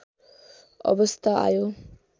अवस्था आयो